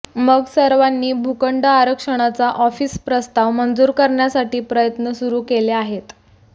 मग सर्वांनी भूखंड आरक्षणाचा ऑफिस प्रस्ताव मंजूर करण्यासाठी प्रयत्न सुरू केले आहेत